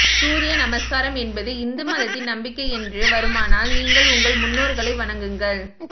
சூரிய நமஸ்காரம் என்பது இந்து மதத்தின் நம்பிக்கை என்று வருமானால் நீங்கள் உங்கள் முன்னோர்களை வணங்குகள்